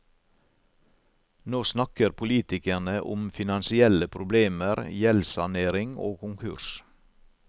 Nå snakker politikerne om finansielle problemer, gjeldssanering og konkurs.